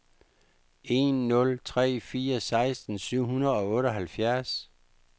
en nul tre fire seksten syv hundrede og otteoghalvfjerds